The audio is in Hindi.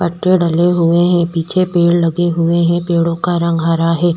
पट्टे डले हुए है पिछे पेड़ लगे हुए है पेड़ों का रंग हरा हैं।